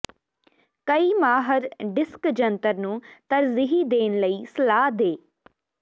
ਕਈ ਮਾਹਰ ਡਿਸਕ ਜੰਤਰ ਨੂੰ ਤਰਜੀਹ ਦੇਣ ਲਈ ਸਲਾਹ ਦੇ